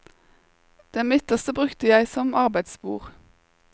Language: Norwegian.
Det midterste brukte jeg som arbeidsbord.